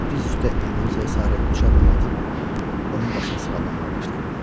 Diz üstə Eliozaya sarı üç addım atıb, onun başını sığallamağa başladı.